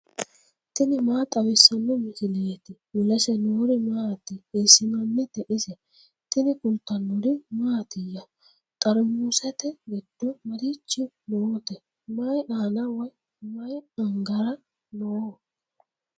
tini maa xawissanno misileeti ? mulese noori maati ? hiissinannite ise ? tini kultannori mattiya? Xarimusete giddo marichi nootte? Mayi aanna woy mayi Angara noo?